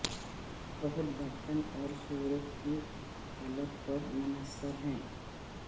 بہت برتن اور صورت کی حالت پر منحصر ہے